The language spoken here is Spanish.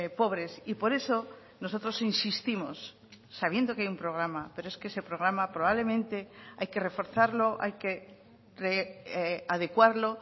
pobres y por eso nosotros insistimos sabiendo que hay un programa pero es que ese programa probablemente hay que reforzarlo hay que adecuarlo